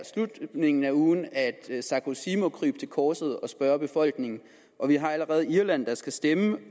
slutningen af ugen at sarkozy må krybe til korset og spørge befolkningen og vi har allerede set at irland skal stemme den